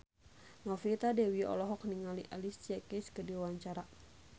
Novita Dewi olohok ningali Alicia Keys keur diwawancara